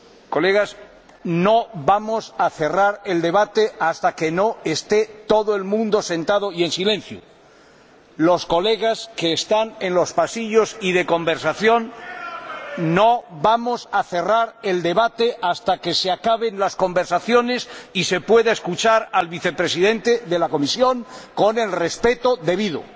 Colegas, no vamos a cerrar el debate hasta que no esté todo el mundo sentado y en silencio. Me dirijo a los colegas que están en los pasillos y de conversación ¡no vamos a cerrar el debate hasta que se acaben las conversaciones y se pueda escuchar al Vicepresidente de la Comisión con el debido